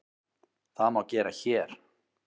Það má gera HÉR.